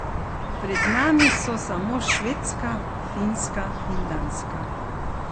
Pred nami so samo Švedska, Finska in Danska.